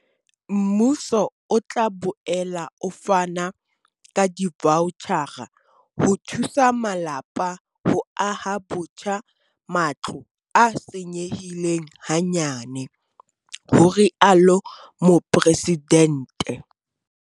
Mmuso o tla boela o fana ka divaotjhara ho thusa malapa ho aha botjha matlo a senyehileng hanyane, ho rialo Mopresidente.